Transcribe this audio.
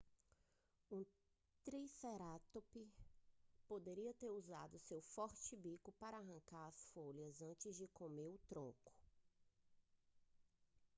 um tricerátops poderia ter usado seu forte bico para arrancar as folhas antes de comer o tronco